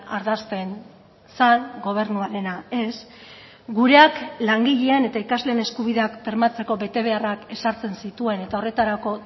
ardazten zen gobernuarena ez gureak langileen eta ikasleen eskubideak bermatzeko betebeharrak ezartzen zituen eta horretarako